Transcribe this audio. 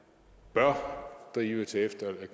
bør